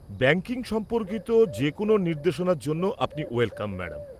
Banking সম্পর্কিত যে কোনও নির্দেশনার জন্য আপনি ওয়েলকাম, ম্যাডাম।